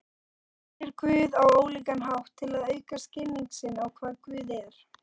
Fólk sér Guð á ólíkan hátt til að auka skilning sinn á hvað Guð er.